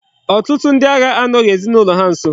Otutu ndi agha anoghi ezinaulo ha nso